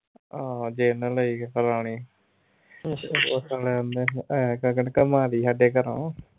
ਆਹ ਲਈ ਉਹ ਦਿਨ ਉਹਨੇ ਐ ਕਰਕੇ ਨਾ ਘੁੰਮਾ ਲਈ ਸਾਡੇ ਘਰੋਂ